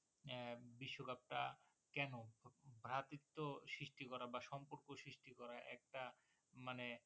আহ বিশ্বকাপটা কেন ভ্রাত্বিত্ব সৃষ্টি করা বা সম্পর্ক সৃষ্টি করা একটা মানে